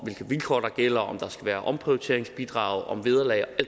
vilkår der gælder om der skal være omprioriteringsbidrag om vederlag og